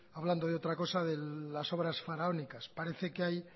hablando de otra cosa de las obras faraónicas parece que hay